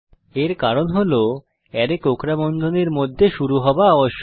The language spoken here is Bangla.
এর কারণ হল অ্যারে কোঁকড়া বন্ধনীর মধ্যে শুরু হওয়া আবশ্যক